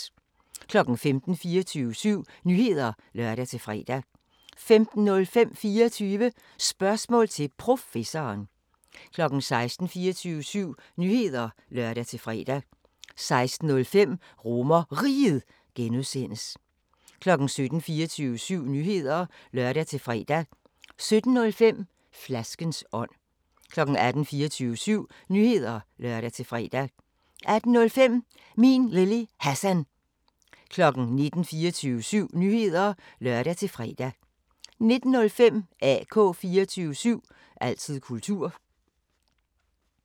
15:00: 24syv Nyheder (lør-fre) 15:05: 24 Spørgsmål til Professoren 16:00: 24syv Nyheder (lør-fre) 16:05: RomerRiget (G) 17:00: 24syv Nyheder (lør-fre) 17:05: Flaskens ånd 18:00: 24syv Nyheder (lør-fre) 18:05: Min Lille Hassan 19:00: 24syv Nyheder (lør-fre) 19:05: AK 24syv – altid kultur